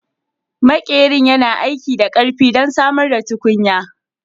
Maƙerin yana aiki da ƙarfi don samar da tukunya